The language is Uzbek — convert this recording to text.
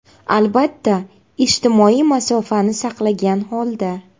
Albatta, ijtimoiy masofani saqlagan holda.